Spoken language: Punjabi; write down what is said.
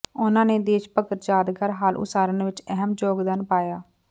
ਉਨ੍ਹਾਂ ਨੇ ਦੇਸ਼ ਭਗਤ ਯਾਦਗਾਰ ਹਾਲ ਉਸਾਰਨ ਵਿਚ ਅਹਿਮ ਯੋਗਦਾਨ ਪਾਇਆ